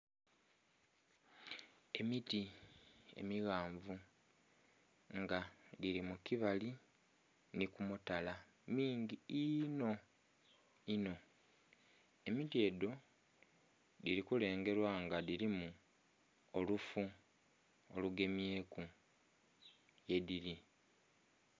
Emiti emighanvu nga dhili mu kibali nhi ku mutala mingi inho inho, emiti edho, dhili kulengelwa nga dhilimu olufu olugemyeku ghe dhili.